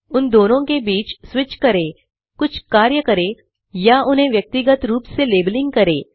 उन दोनों के बीच स्विच करें कुछ कार्य करें या उन्हें व्यक्तिगत रूप से लेबलिंग करें